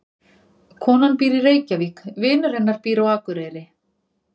Konan býr í Reykjavík. Vinur hennar býr á Akureyri.